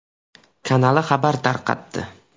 kanali xabar tarqatdi .